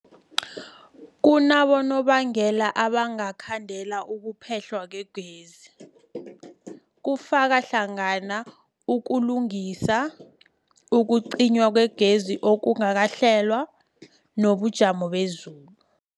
Kunabonobangela abangakhandela ukuphehlwa kwegezi, kufaka hlangana ukulungisa, ukucinywa kwegezi okungakahlelwa, nobujamo bezulu.